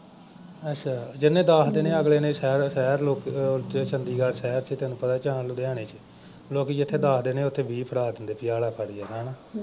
ਅੱਛਾ ਜਿਨ੍ਹੇ ਦਸ ਦੇਣੇ ਆ ਅਗਲੇ ਨੇ ਸ਼ਹਿਰ ਸ਼ਹਿਰ ਲੋਕ ਅਹ ਉੱਥੇ ਚੰਡੀਗੜ੍ਹ ਸ਼ਹਿਰ ਚ ਤੈਨੂੰ ਪਤਾ ਜਾਂ ਲੁਧਿਆਣੇ ਚ ਲੋਕੀਂ ਜਿੱਥੇ ਦਸ ਦੇਣੇ ਆ ਉੱਥੇ ਵੀਹ ਫੜਾ ਦਿੰਦੇ ਬਈ ਆ ਲੈ ਫੱਡ ਯਾਰ ਹਨਾ।